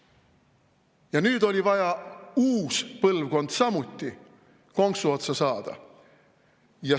Ja nüüd oli vaja uus põlvkond samuti konksu otsa saada.